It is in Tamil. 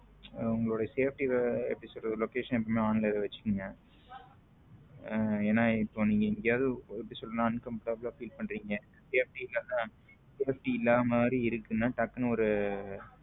உங்களோட safety எப்படி சொல்றது location எப்போது on ல வச்சுக்குங்க ஏன்னா நீங்க இப்போ எங்கேயாவது uncomfortable feel பண்றீங்க safety இல்ல மாறி இருக்குன்னா டக்குனு ஒரு